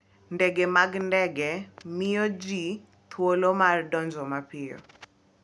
Ndege mag ndege miyo ji thuolo mar donjo mapiyo.